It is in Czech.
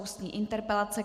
Ústní interpelace